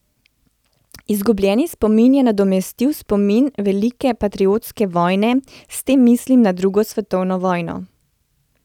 Izgubljeni spomin je nadomestil spomin velike patriotske vojne, s tem mislim na drugo svetovno vojno.